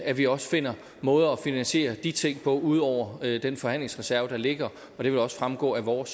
at vi også finder måder at finansiere de ting på ud over den forhandlingsreserve der ligger og det vil også fremgå af vores